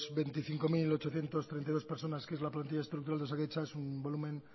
veinticinco mil ochocientos treinta y dos personas que es la que plantilla estructural de osakidetza es un volumen